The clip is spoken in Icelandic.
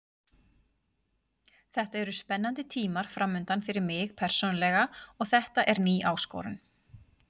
Þetta eru spennandi tímar framundan fyrir mig persónulega og þetta er ný áskorun.